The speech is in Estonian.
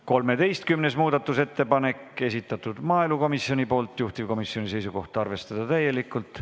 13. muudatusettepanek, esitanud maaelukomisjon, juhtivkomisjoni seisukoht: arvestada täielikult.